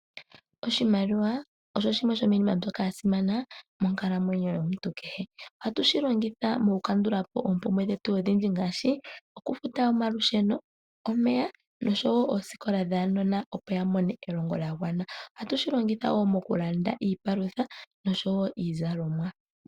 Oshimaliwa osho shimwe sho miinima mbyoka ya simana moonkalamwenyo yomuntu kehe. Ohatu shilongitha oku kandulapo oompumbwe dhetu odhindji ngaashi. Oku futa omalusheno , omeya osho woo oosikola dhaanona opo ya mone elongo lya gwana. Ohatu shilongitha woo okulanda iipalutha nosho woo iizalomwa.